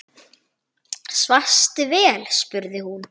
Svafstu vel? spurði hún.